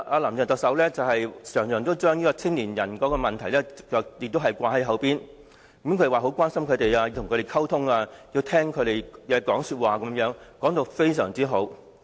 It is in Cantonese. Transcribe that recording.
"林鄭"特首經常把年青人的問題掛在口邊，說她很關心他們，要與他們溝通，以及聽取他們的意見等；說得非常動聽。